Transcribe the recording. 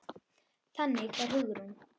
Þannig var Hugrún.